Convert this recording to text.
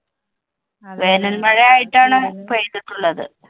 വേനല്‍ മഴയായിട്ടാണ് പെയ്തിട്ടുള്ളത്.